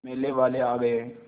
मेले वाले आ गए